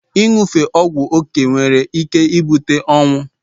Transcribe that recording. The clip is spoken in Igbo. Inyufega ogwu okee nwere ike ibute onwụ